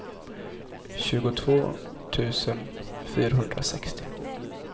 tjugotvå tusen fyrahundrasextio